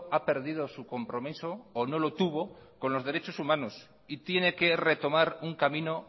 ha perdido su compromiso o no lo tuvo con los derechos humanos y tiene que retomar un camino